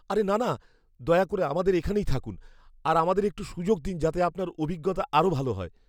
আরে না না... দয়া করে আমাদের এখানেই থাকুন আর আমাদের একটু সুযোগ দিন যাতে আপনার অভিজ্ঞতা আরও ভাল হয়।